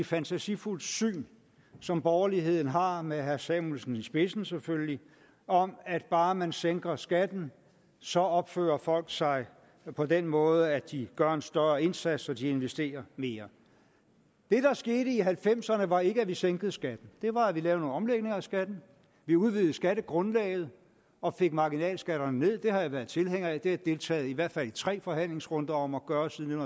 fantasifuldt syn som borgerligheden har med herre samuelsen i spidsen selvfølgelig om at bare man sænker skatten så opfører folk sig på den måde at de gør en større indsats og de investerer mere det der skete i nitten halvfemserne var ikke at vi sænkede skatten det var at vi lavede nogle omlægninger af skatten vi udvidede skattegrundlaget og fik marginalskatterne nederst det har jeg været tilhænger af det har jeg deltaget i i hvert fald tre forhandlingsrunder om at gøre siden